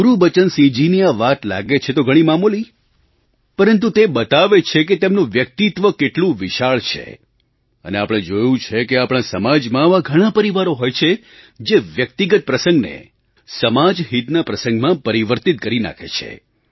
ગુરુબચનસિંહજીની આ વાત લાગે છે તો ઘણી મામૂલી પરંતુ તે બતાવે છે કે તેમનું વ્યક્તિત્વ કેટલું વિશાળ છે અને આપણે જોયું છે કે આપણા સમાજમાં આવા ઘણા પરિવારો હોય છે જે વ્યક્તિગત પ્રસંગને સમાજહિતના પ્રસંગમાં પરિવર્તિત કરી નાખે છે